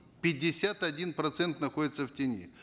пятьдесят один процент находится в тени